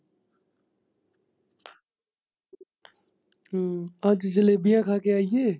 ਹਮ ਅੱਜ ਜਲੇਬੀਆ ਖਾ ਕੇ ਆਈਏ।